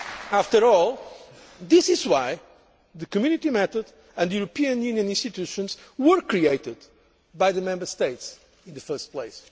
future. After all, this is why the Community method and the EU institutions were created by the Member States in the first